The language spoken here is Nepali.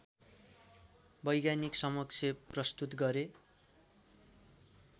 वैज्ञानिकसमक्ष प्रस्तुत गरे